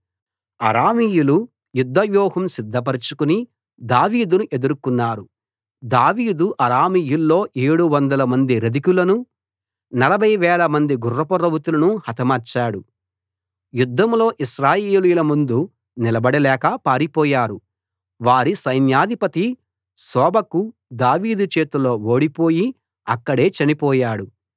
అరామీయులు యుద్ధ వ్యూహం సిద్ధపరచుకుని దావీదును ఎదుర్కున్నారు దావీదు అరామీయుల్లో ఏడు వందలమంది రథికులను నలభై వేలమంది గుర్రపు రౌతులను హతమార్చాడు యుద్ధంలో ఇశ్రాయేలీయుల ముందు నిలబడలేక పారిపోయారు వారి సైన్యాధిపతి షోబకు దావీదు చేతిలో ఓడిపోయి అక్కడే చనిపోయాడు